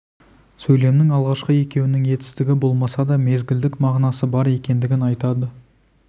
сөйлемнің алғашқы екеуінің етістігі болмаса да мезгілдік мағынасы бар екендігін айтады